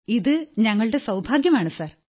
ഇത് ഞങ്ങളുടെ സൌഭാഗ്യം സർ